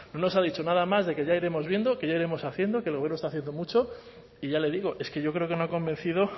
no nos ha dicho nada más de que ya iremos viendo que ya iremos haciendo que el gobierno está haciendo mucho y ya le digo es que yo creo que no ha convencido